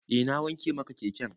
Eh na wanke maka keken.